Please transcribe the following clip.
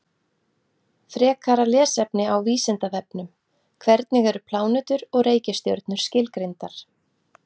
Frekara lesefni á Vísindavefnum: Hvernig eru plánetur og reikistjörnur skilgreindar?